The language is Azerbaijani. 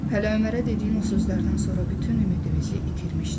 Hələ Ömərə dediyin o sözlərdən sonra bütün ümidimizi itirmişdik.